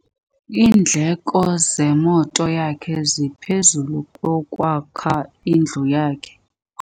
Iindleko zemoto yakhe zingaphezu kwezokwakha indlu yakhe.